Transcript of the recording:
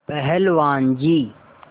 पहलवान जी